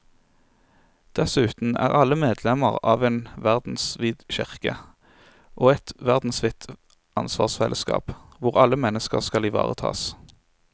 Dessuten er alle medlemmer av en verdensvid kirke og et verdensvidt ansvarsfellesskap hvor alle mennesker skal ivaretas.